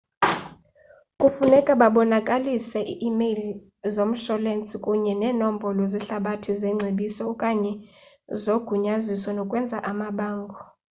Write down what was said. kufuneka babonakalise i emeyile zomsholensi kunye nemnombolo zehlabathi zengcebiso/okanye zogunyaziso nokwenza amabango